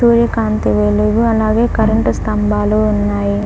సూర్యకాంతి వెలుగు అలాగే కరెంటు స్థంబాలు ఉన్నాయి.